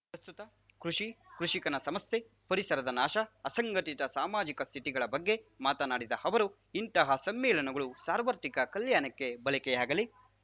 ಪ್ರಸ್ತುತ ಕೃಷಿ ಕೃಷಿಕನ ಸಮಸ್ಯೆ ಪರಿಸರದ ನಾಶ ಅಸಂಘಟಿತ ಸಾಮಾಜಿಕ ಸ್ಥಿತಿಗಳ ಬಗ್ಗೆ ಮಾತನಾಡಿದ ಅವರು ಇಂತಹ ಸಮ್ಮೇಳನಗಳು ಸಾರ್ವತ್ರಿಕ ಕಲ್ಯಾಣಕ್ಕೆ ಬಳಕೆಯಾಗಲಿ